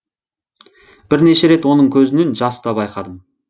бірнеше рет оның көзінен жас та байқадым